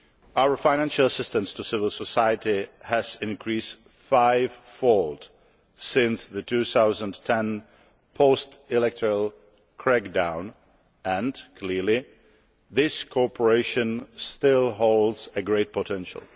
Our financial assistance to civil society has increased five fold since the 2010 post electoral crackdown and clearly this cooperation still has great potential.